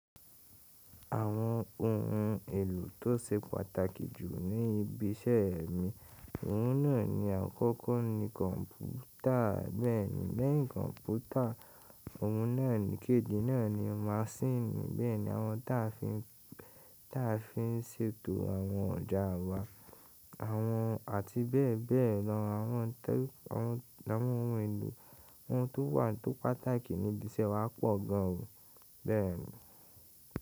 Àwọn ohun èlò tó se pàtàkì jù ní ibi iṣẹ́ mi, ohun náà ni àkọ́kọ́ ni kọ̀npútà bẹ́ẹ̀ni, lẹ́yìn kọ̀npútà ohun náà ní kejì náà ni masíìnì bẹ́ẹ̀ni àwọn táa fi ń, táa fi ń ṣètò àwọn ọjà wa, àwọn àti bẹ́ẹ̀ bẹ́ẹ̀ lọ, àwọn tẹ́, àwọn, àwọn ohun èlò, ohun tó wà tó pàtàkì ní ibi iṣẹ́ wa pọ̀ gan o bẹ́ẹ̀ni.